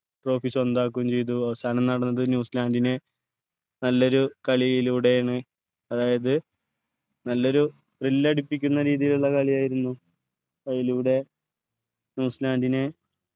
trophy സ്വന്തമാക്കും ചെയ്തു അവസാനം നടന്നത് ന്യൂസിലാൻഡിനെ നല്ലൊരു കളിയിലൂടെണ് അതായത് നല്ലൊരു thrill ടിപ്പിക്കുന്ന രീതിയിലുള്ള കളിയായിരുന്നു അതിലൂടെ ന്യൂസിലാൻഡിനെ